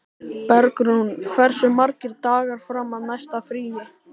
Bergrún, hversu margir dagar fram að næsta fríi?